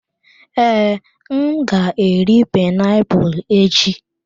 Ee, m ga-eri painiapulu echi.